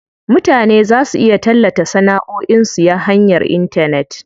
Mutane za su iya tallata sanaʼoin su ya hanyar intanet.